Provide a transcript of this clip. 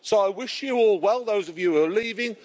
So, I wish you all well, those of you who are leaving.